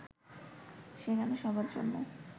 সেখানে সবার জন্য